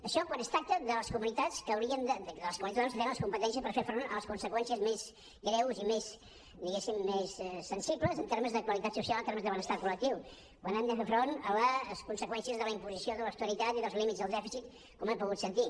això quan es tracta de les comunitats autònomes que tenen les competències per fer front a les conseqüències més greus i més diguéssim sensibles en termes de qualitat social en termes de benestar col·lectiu quan han de fer front a les conseqüències de la imposició de l’austeritat i dels límits del dèficit com hem pogut sentir